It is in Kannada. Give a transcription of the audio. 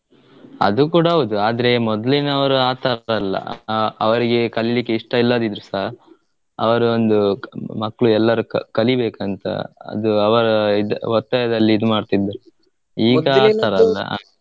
ಅದು ಕೂಡ ಹೌದು ಆದ್ರೆ ಮೊದ್ಲಿನವರು ಆಥರ ಅಲ್ಲ ಅಹ್ ಅವ್ರಿಗೆ ಕಲಿಲಿಕ್ಕೆ ಇಷ್ಟ ಇಲ್ದೆ ಇದ್ರುಸ ಅವ್ರು ಒಂದು ಮಕ್ಳು ಎಲ್ಲರು ಕ~ ಕಲಿಬೇಕಂತ ಅದು ಅವ್ರು ಇದ್ ಒತ್ತಾಯದಲ್ಲಿ ಇದ್ಮಾಡ್ತಿದ್ರು ಈಗ ಆತರ ಅಲ್ಲಾ.